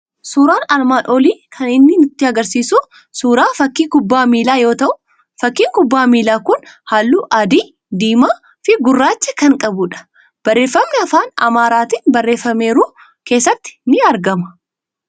Suuraan armaan olii kan inni nutti argisiisu suuraa fakkii kubbaa miilaa yoo ta'u, fakkiin kubbaa miilaa kun halluu adii, diimaa fi gurraacha kan qabudha. Barreeffamni afaan Amaaraatiin barreeffameeru keessatti ni argama.